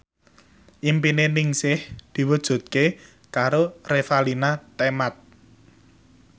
impine Ningsih diwujudke karo Revalina Temat